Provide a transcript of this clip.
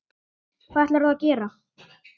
Hvað ætlar þú að gera?